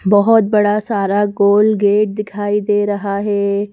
बहुत बड़ा सारा गोल गेट दिखाई दे रहा है।